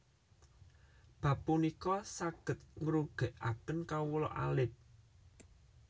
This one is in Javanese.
Bab punika sanget ngrugèkaken kawula alit